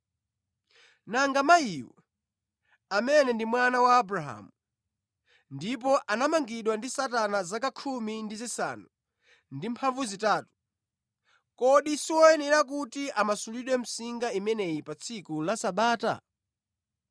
Nanga mayiyu, amene ndi mwana wa Abrahamu, ndipo anamangidwa ndi Satana zaka 18, kodi siwoyenera kuti amasulidwe msinga imeneyi pa tsiku la Sabata?”